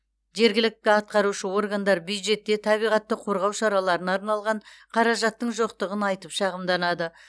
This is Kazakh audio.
жергілікті атқарушы органдар бюджетте табиғатты қорғау шараларына арналған қаражаттың жоқтығын айтып шағымданады